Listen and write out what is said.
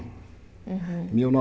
Aham Mil